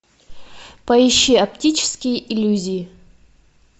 поищи оптические иллюзии